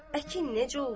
Əkin necə olsun?